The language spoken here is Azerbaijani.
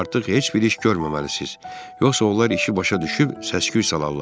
Artıq heç bir iş görməməlisiniz, yoxsa onlar işi başa düşüb səs-küy salarlar.